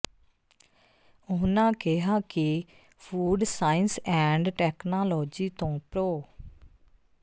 ਉਨ੍ਹਾਂ ਕਿਹਾ ਕਿ ਫੂਡ ਸਾਇੰਸ ਐਂਡ ਟੈਕਨਾਲੋਜੀ ਤੋਂ ਪ੍ਰੋ